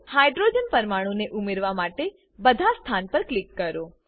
hydrogen પરમાણુ ને ઉમેરવા માટે બધા સ્થાન પર ક્લિક કરો